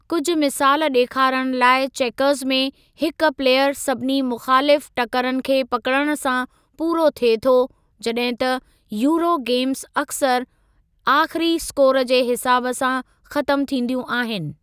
कुझु मिसालु ॾेखारण लाइ चेकर्ज़ में हिक प्लेयर सभिनी मुख़ालिफ़ु टकरनि खे पकिड़ण सां पूरो थिए थो जॾहिं त यूरो गेम्ज़ अक्सर आख़िरी इस्कोर जे हिसाब सां ख़तमु थींदियूं आहिनि।